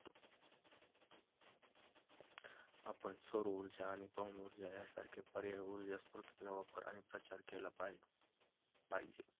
आपण सौरऊर्जा आणि पवन ऊर्जा यासारख्या पर्यायी ऊर्जा स्रोतांचा वापर आणि प्रचार केला पा~ पाहिजे.